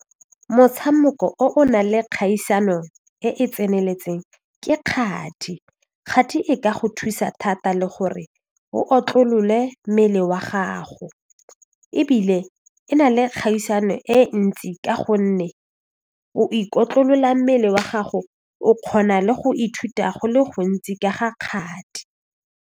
Motshameko o o nang le kgaisano e e tseneletseng ke kgati, kgati e ka go thusa thata le gore o otlolole mmele wa gago ebile e na le kgaisano e ntsi ka gonne o ikotlolola mmele wa gago o kgona le go ithuta go le gontsi ka ga kgati.